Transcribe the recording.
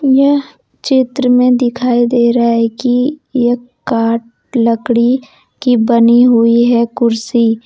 यह चित्र में दिखाई दे रहा है कि ये काट लकड़ी की बनी हुई है कुर्सी।